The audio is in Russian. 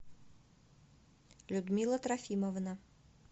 людмила трофимовна